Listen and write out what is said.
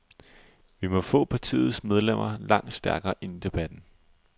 Vi må få partiets medlemmer langt stærkere ind i debatten.